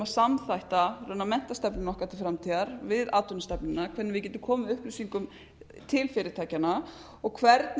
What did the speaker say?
samþætta menntastefnu okkar til framtíðar við atvinnustefnuna hvernig við getum komið upplýsingum til fyrirtækjanna og hvernig við